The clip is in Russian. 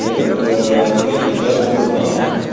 этот крендель даже и не знал